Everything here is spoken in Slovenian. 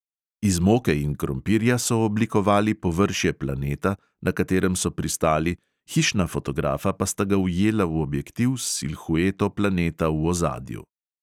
Iz moke in krompirja so oblikovali površje planeta, na katerem so pristali, hišna fotografa pa sta ga ujela v objektiv s silhueto planeta v ozadju.